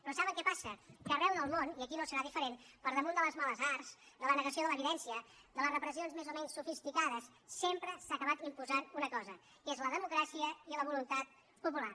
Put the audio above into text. però saben què passa que arreu del món i aquí no serà diferent per damunt de les males arts de la negació de l’evidència de les repressions més o menys sofisticades sempre s’ha acabat imposant una cosa que és la democràcia i la voluntat popular